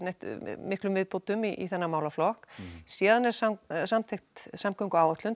miklum viðbótum í þennan málaflokk síðan er samþykkt samgönguáætlun